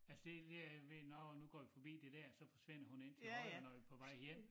Altså det det er jeg ved nårh nu går vi forbi det dér så forsvinder hun ind til højre når vi er på vej hjem